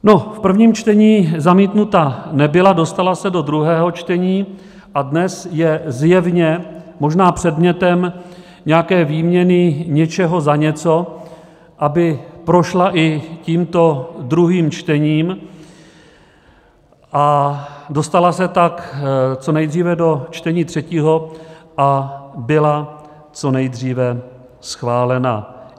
No, v prvním čtení zamítnuta nebyla, dostala se do druhého čtení a dnes je zjevně možná předmětem nějaké výměny něčeho za něco, aby prošla i tímto druhým čtením a dostala se tak co nejdříve do čtení třetího a byla co nejdříve schválena.